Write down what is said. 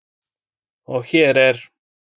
Og hér er